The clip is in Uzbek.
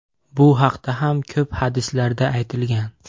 Bu haqda ham ko‘p hadislarda aytilgan.